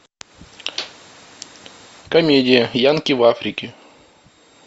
комедия янки в африке